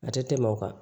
A tɛ tɛmɛ o kan